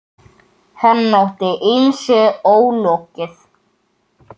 Hann átti ýmsu ólokið.